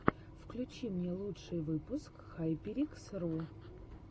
включи мне лучший выпуск хайперикс ру